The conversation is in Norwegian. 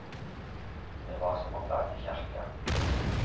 Det var som å banne i kjerka.